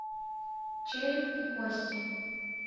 череп и кости